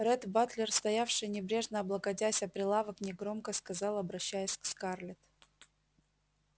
ретт батлер стоявший небрежно облокотясь о прилавок негромко сказал обращаясь к скарлетт